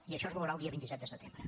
i això es veurà el dia vint set de setembre